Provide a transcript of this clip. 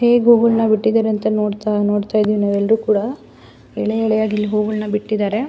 ಹೇಗೆ ಹೂ ಗಳ್ನ ಬಿಟ್ಟಿದ್ದಾರೆ ಅಂತ ನೋಡತ್ತ ನೋಡತ್ತಾ ಇದ್ದಿವಿ ನಾವು ಎಲ್ಲರೂ ಕೂಡ ಎಳೇ ಎಳೆಯಾಗಿ ಇಲ್ಲಿ ಹೂ ಗಳ್ನ ಬಿಟ್ಟಿದ್ದಾರೆ.